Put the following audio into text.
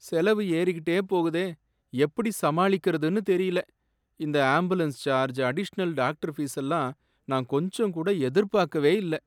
செலவு ஏறிக்கிட்டே போகுதே! எப்படி சமாளிக்கறதுனு தெரியல. இந்த ஆம்புலன்ஸ் சார்ஜ், அடிஷனல் டாக்டர் ஃபீசெல்லாம் நான் கொஞ்சம் கூட எதிர்பார்க்கவே இல்ல.